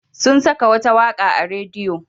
Sun saka wata waƙa a rediyo.